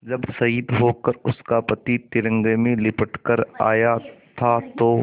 जब शहीद होकर उसका पति तिरंगे में लिपट कर आया था तो